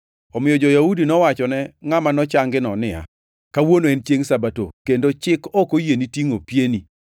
omiyo jo-Yahudi nowachone ngʼama nochangino niya, “Kawuono en chiengʼ Sabato, kendo chik ok oyieni tingʼo pieni.”